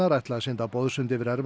ætla að synda boðsund yfir